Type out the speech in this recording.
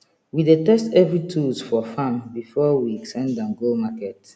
we dey test every tools for farm before we send am go market